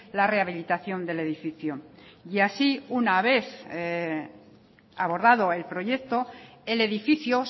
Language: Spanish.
la rehabilitación del edificio y así una vez abordado el proyecto el edificio